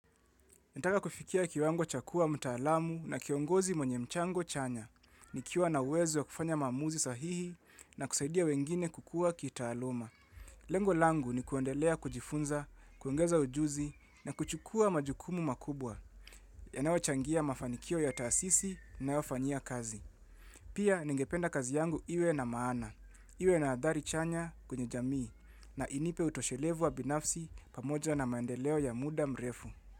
Nataka kufikia kiwango cha kuwa mtaalamu na kiongozi mwenye mchango chanya. Nikiwa na uwezo ya kufanya maamuzi sahihi na kusaidia wengine kukuwa kitaaluma. Lengo langu ni kuendelea kujifunza, kuongeza ujuzi na kuchukua majukumu makubwa. Yanayochangia mafanikio ya taasisi ninayofanyia kazi. Pia ningependa kazi yangu iwe na maana. Iwe na adhari chanya kwenye jamii na inipe utoshelevu wa binafsi pamoja na maendeleo ya muda mrefu.